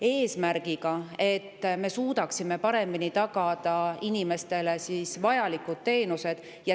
Eesmärk on, et me suudaksime paremini tagada inimestele vajalikke teenuseid.